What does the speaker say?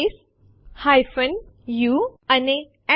અહીં ફાઈલો છે popટીએક્સટી pushટીએક્સટી અને abcટીએક્સટી